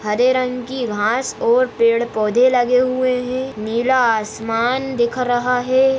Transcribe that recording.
हरे रंग की घास और पेड़ पौधे लगे हुए है नीला आसमान दिख रहा है।